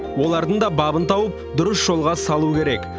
олардың да бабын тауып дұрыс жолға салу керек